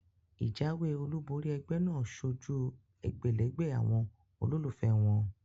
Ìjáwé olúbori egbé náà sojú egbèlégbè àwon olólùfé won